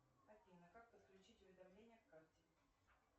афина как подключить уведомления к карте